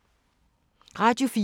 Radio 4